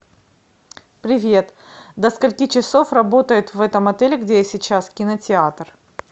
привет до скольки часов работает в этом отеле где я сейчас кинотеатр